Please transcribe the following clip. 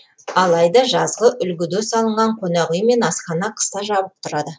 алайда жазғы үлгіде салынған қонақ үй мен асхана қыста жабық тұрады